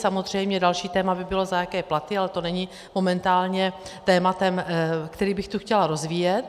Samozřejmě další téma by bylo, za jaké platy, ale to není momentálně tématem, který bych tady chtěla rozvíjet.